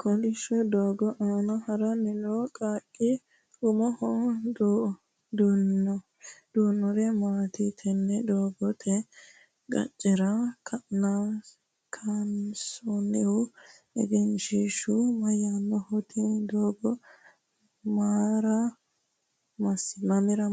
kolishsho doogo aana haranni noo qaaqqi umoho duhinori maati? tenne doogote qaccera kaansoonnihu egenshiishu mayyaannoho? tini doogo mamra